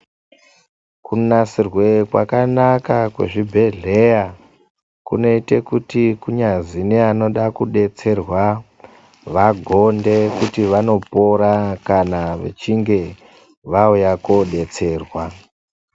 Kunasirewe kwakanaka kwezvibhehleya kunoita kuti kunyazi nevanonda kudetserwa vagonde kuti vanopora kana vachinge vauya koodetserwa.